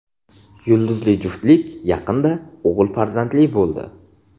Yulduzli juftlik yaqinda o‘g‘il farzandli bo‘ldi.